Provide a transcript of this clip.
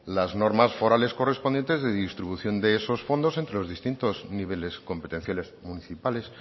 las normas forales correspondientes de distribución de esos fondos entre los distintos niveles competenciales municipales